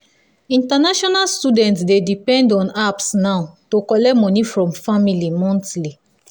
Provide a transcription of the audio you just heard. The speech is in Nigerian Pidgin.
international students dey depend on apps now to collect money from family monthly.